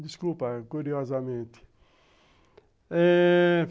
Desculpa, curiosamente.